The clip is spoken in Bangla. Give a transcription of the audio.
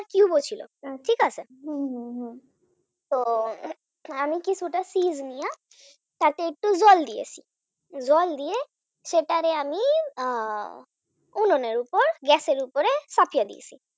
tube ও ছিল, ঠিক আছে তো আমি কিছুটা নিয়া তাতে একটু জল দিয়েন জল দিয়ে সেটারে আমি আহ উনানের উপর Gas এর উপর পাঠিয়ে দিয়েছি